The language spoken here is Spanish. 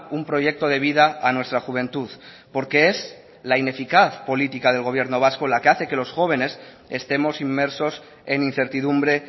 un proyecto de vida a nuestra juventud porque es la ineficaz política del gobierno vasco la que hace que los jóvenes estemos inmersos en incertidumbre